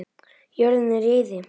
Jörðin er í eyði.